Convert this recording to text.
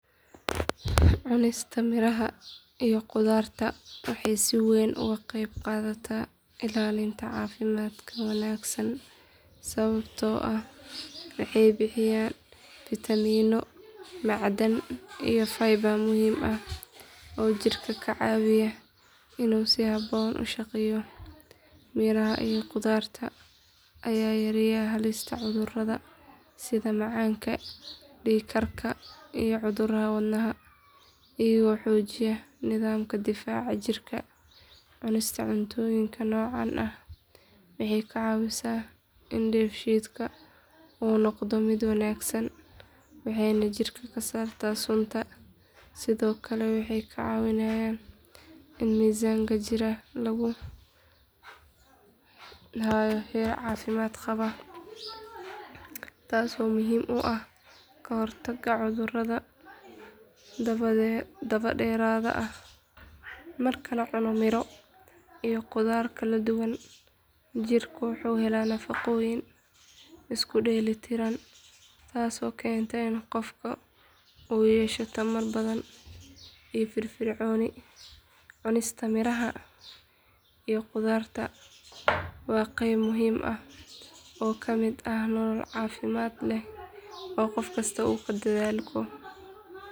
Cunista miraha iyo khudaarta waxay si weyn uga qayb qaadataa ilaalinta caafimaadka wanaagsan sababtoo ah waxay bixiyaan fiitamiinno, macdan, iyo fiber muhiim ah oo jirka ka caawiya inuu si habboon u shaqeeyo. Miraha iyo khudaarta ayaa yareeya halista cudurrada sida macaanka, dhiig karka, iyo cudurrada wadnaha iyagoo xoojiya nidaamka difaaca jirka. Cunista cuntooyinka noocan ah waxay ka caawisaa in dheefshiidka uu noqdo mid wanaagsan, waxayna jirka ka saartaa sunta. Sidoo kale waxay kaa caawinayaan in miisaanka jirka lagu hayo heer caafimaad qaba taasoo muhiim u ah ka hortagga cudurrada dabadheeraada ah. Marka la cuno miro iyo khudaar kala duwan, jirku wuxuu helaa nafaqooyin isku dheeli tiran taasoo keenta in qofka uu yeesho tamar badan iyo firfircooni. Cunista miraha iyo khudaarta waa qayb muhiim ah oo ka mid ah nolol caafimaad leh oo qof kasta uu ku dadaalo.